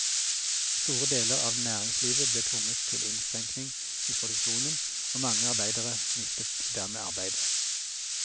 Store deler av næringslivet ble tvunget til innskrenkning i produksjonen og mange arbeidere mistet dermed arbeidet.